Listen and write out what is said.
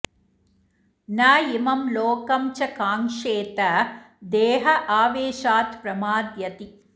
न इमं लोकं च काङ्क्षेत देह आवेशात् प्रमाद्यति